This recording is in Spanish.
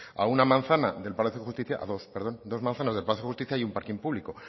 a dos manzanas del palacio de justicia hay un parking público